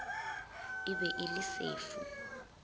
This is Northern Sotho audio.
e be e le sefu